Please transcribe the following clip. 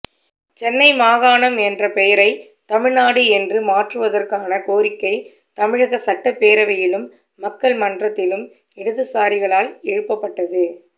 சென்னை மாகாணம் என்ற பெயரைத் தமிழ்நாடு என்று மாற்றுவதற்கான கோரிக்கை தமிழக சட்டப்பேரவையிலும் மக்கள் மன்றத்திலும் இடதுசாரிகளால் எழுப்பப்பட்டது